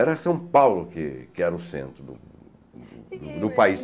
Era São Paulo que que era o centro do país.